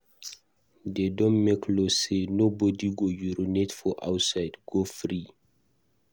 De don make law say nobody go urinate for outside go free